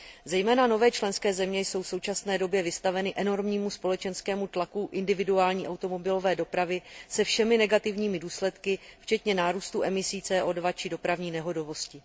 Zejména nové členské země jsou v současné době vystaveny enormnímu společenskému tlaku individuální automobilové dopravy se všemi negativními důsledky, včetně nárůstu emisí CO 2 či dopravní nehodovosti.